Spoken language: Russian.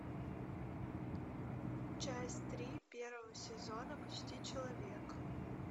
часть три первого сезона почти человек